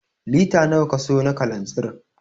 Lita nawa ka sayo na kalanzir?